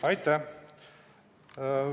Aitäh!